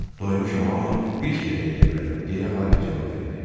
Doymuşam, amma bir tikə də yeyə bilərəm, deyə Harvi cavab verdi.